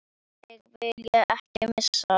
Þig vil ég ekki missa.